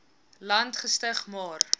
land gestig maar